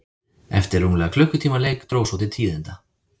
Eftir rúmlega klukkutíma leik dró svo til tíðinda.